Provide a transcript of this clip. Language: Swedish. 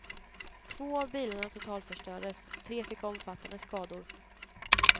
Två av bilarna totalförstördes, tre fick omfattande skador.